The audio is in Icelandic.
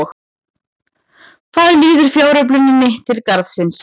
Hvað líður fjársöfnuninni til Garðsins?